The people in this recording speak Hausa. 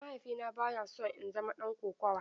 Mahaifina baya so in zama ɗan kokawa.